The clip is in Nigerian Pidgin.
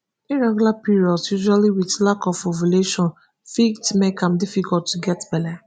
irregular periods usually with lack of ovulation fit make am difficult to get belle